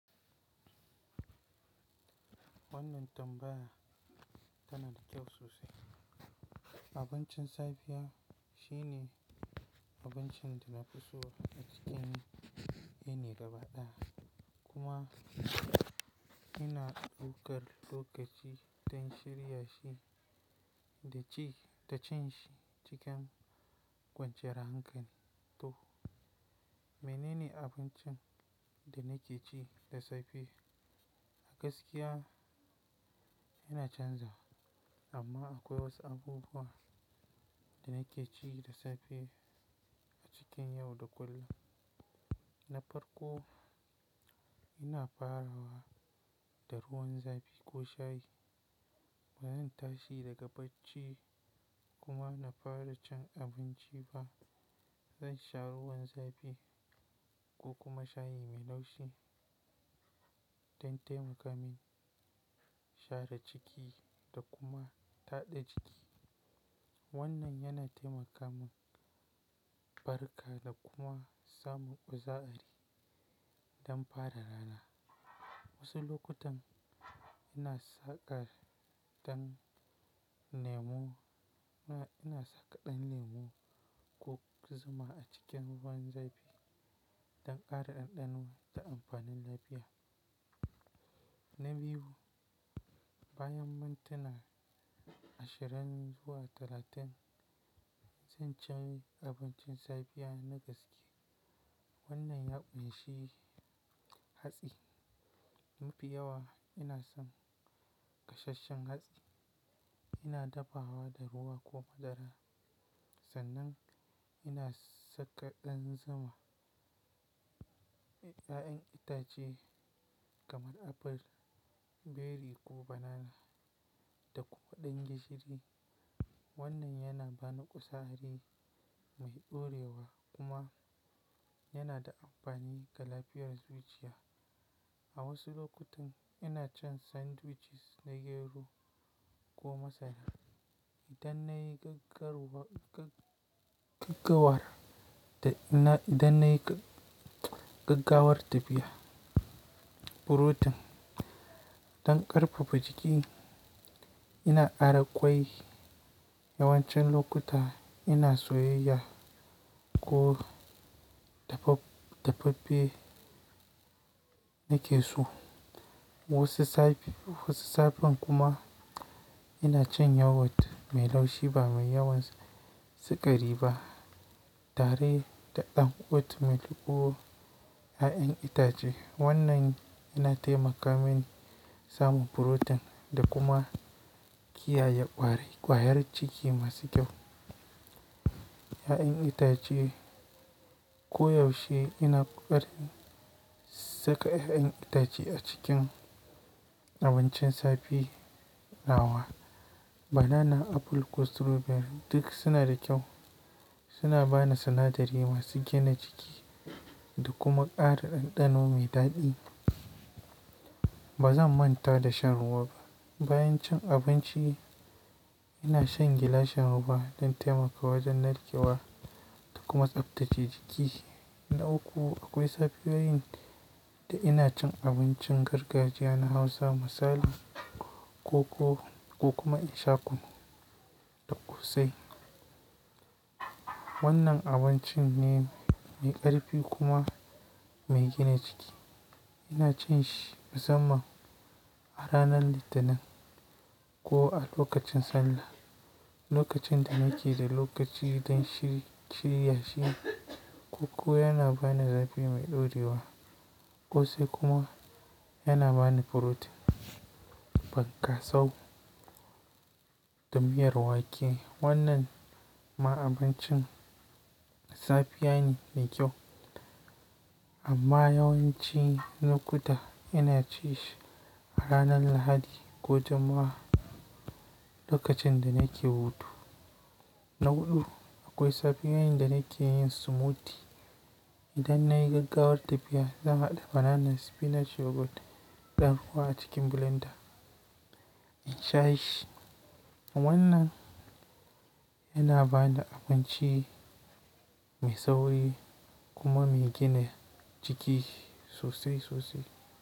Wannan tambaya tana da kyau sosai. Abincin safiya shi ne abincin da nafi so a cikin yini gaba ɗaya. Kuma ina daukar lokaci don shirya shi da ci--da cin shi cikin kwanciyar hankali. To, menene abincin da nake ci da safe? A gaskiya ina canza wa, amma akwai wasu abubuwa da nake ci da safe a cikin yau da kullum. Na farko, ina farawa da ruwan zafi ko shayi. Baran tashi daga bacci kuma na fara cin abinci ba. Zan sha ruwan zafi ko kuma shayi mai laushi don taimaka min share ciki da kuma taɗa jiki. Wannan yana taimaka mun baraka da kuma samun ƙuza'ari don fara rana. Wasu lokutan ina tsakar ɗan lemu--ina tsaka dan lemu ko zuma a cikin ruwan zafi don ƙara ɗanɗano da amfanin lafiya. Na biyu, bayan mintuna ashirin zuwa talatin, sai in ci abincin safiya na, na gaske. Wannan ya ƙunshi hatsi. Mafi yawa ina son gasheshen hatsi. Ina dafawa da ruwa ko madara. Sannan ina saka ɗan zuma, 'ya'yan itace kaman apple, berry ko banana da kuma ɗan gishiri. Wannan yana bani kuza'ari mai ɗorewa kuma yana da amfani ga lafiyar zuciya. A wasu lokutan ina cin sandwiches na gero ko masara idan na yi gaggawar-- da in na Idan nayi gaggawar tafiya. Protein don ƙarfafa jiki. Ina kara kwai yawancin lokuta ina soyayyiya ko da faf--faffe nake so. Wasu safe--wasu safe kuma ina cin yogurt mai laushi ba mai yawan sukari ba tare da ɗan oat milk ko, 'ya'yan itace. Wannan yana taimaka mini samun protein da kuma kiyaye ƙwari--ƙwayar jiki masu kyau. 'Ya'yan itace ko yaushe ina koƙarin saka 'ya'yan itace a cikin abincin safe na wa. Banana, apple ko strawberry duk suna da kyau. Suna bani sinadari masu gina jiki da kuma ƙara ɗanɗano mai daɗi. Ba zan manta da shan ruwa ba. Bayan cin abinci ina shan gilashin ruwa don taimaka wajen narkewa da kuma tsabtace jiki. Na uku, akwai safiyoyin da ina cin abincin gargajiya na Hausa misali, koko ko kuma in sha kunu da ƙosai. Wannan abincin ne mai ƙarfi kuma mai gina jiki. Ina cin shi musamman a ranar Litinin ko a lokacin Sallah, lokacin da nake da lokaci don shiri--shirya shi. Koko yana bani zafi mai ɗaurewa, ƙosai kuma yana bani protein. Ban ƙasau da miyar wake. Wannan ma abincin safe ya ne mai kyau, amma yawanci lokuta ina cin shi a ranar Lahadi ko jumma'a lokacin da nake hutu. Na huɗu, akwai safiyoyin da nake yin smoothie idan na yi gaggawar tafiya. Zan haɗa banana, spinach, yogurt da ruwa a cikin blender in sha shi. Wannan Yana bani abinci mai tsauri kuma mai gina jiki sosai--sosai.